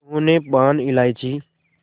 उन्होंने पान इलायची